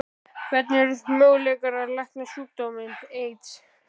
Hvernig eru möguleikar á að lækna sjúkdóminn?